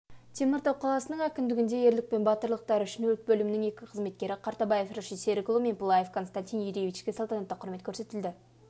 теміртау қаласының әкімдігінде ерлік пен батырлықтары үшін өрт бөлімінің екі қызметкері қартабаев рашид серікұлы мен пылаев константин юрьевичке салтанатты құрмет көрсетілді